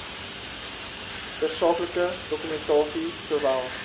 tersaaklike dokumentasie sowel